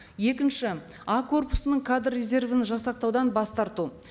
екінші а корпусының кадр резервін жасақтаудан бас тарту